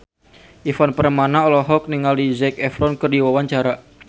Ivan Permana olohok ningali Zac Efron keur diwawancara